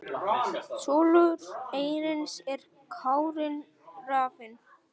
Sonur Ernis er Kári Rafn.